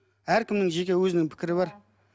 әркімнің жеке өзінің пікірі бар